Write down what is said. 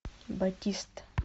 батист